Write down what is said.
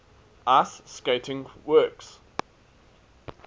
ice skating works